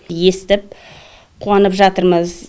естіп қуанып жатырмыз